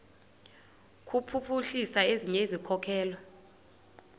kuphuhlisa ezinye izikhokelo